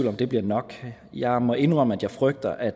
om det bliver nok jeg må indrømme at jeg frygter at